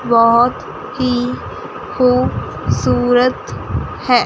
बहोत ही खूब सूरत है।